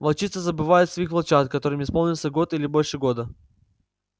волчицы забывают своих волчат которым исполнился год или больше года